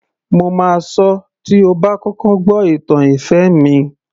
Mo máa sọ tí ó bá kọ́kọ́ gbó ìtàn ìfẹ́ mi